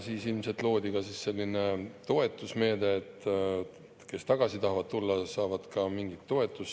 Siis ilmselt loodigi selline toetusmeede, et kes tagasi tahavad tulla, saavad ka mingit toetust.